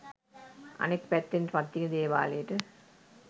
අනෙක් පැත්තෙන් පත්තිනි දේවාලයට